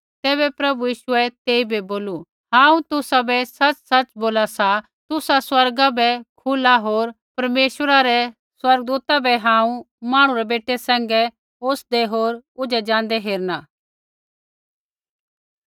तैबै प्रभु यीशुऐ तेइबै बोलू हांऊँ तुसाबै सच़सच़ बोला सा तुसा स्वर्गा बै खुला होर परमेश्वरा रै स्वर्गदूता बै हांऊँ मांहणु रै बेटै सैंघै ओसदै होर ऊझै ज़ाँदै हेरणा